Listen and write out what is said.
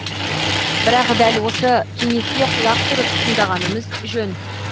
бірақ дәл осы кеңеске құлақ түріп тыңдағанымыз жөн